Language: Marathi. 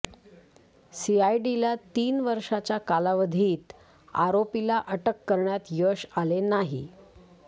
सीआयडीला तीन वर्षाच्या कालावधीत आरोपीला अटक करण्यात यश आले नाही